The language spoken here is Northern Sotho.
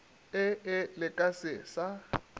ee le ka se sa